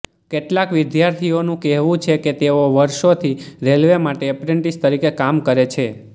કેટલાક વિદ્યાર્થીઓનું કહેવું છે કે તેઓ વર્ષોથી રેલવે માટે એપ્રેંટિસ તરીકે કામ કરે છે